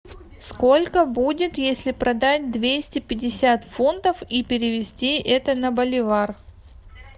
сколько будет если продать двести пятьдесят фунтов и перевести это на боливар